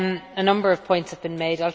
A number of points have been made.